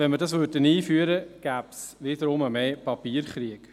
Würden wir dies einführen, gäbe es wiederum einen grösseren Papierkrieg.